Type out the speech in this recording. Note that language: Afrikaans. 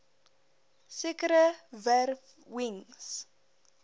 sekere wer wings